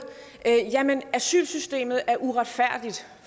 at asylsystemet er uretfærdigt